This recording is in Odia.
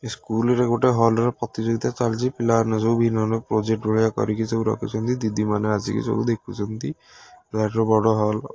ଏ ସ୍କୁଲ ରେ ଗୋଟେ ହଲ୍ ରେ ପ୍ରତିଯୋଗୀତା ଚାଲିଚି ପିଲାମାନେ ସବୁ ବିଭିନ୍ନ ବିଭିନ୍ନ ପ୍ରୋଜେକ୍ଟ ଭଳିଆ କରିକି ସବୁ ରଖିଚନ୍ତି ଦିଦି ମାନେ ଆସିକି ସବୁ ଦେଖୁଚନ୍ତି ବିରାଟ ବଡ ହଲ ।